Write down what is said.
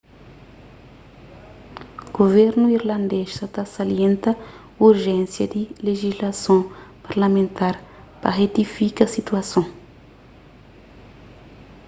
guvernu irlandês sa ta salienta urjénsia di lejislason parlamentar pa retifika situason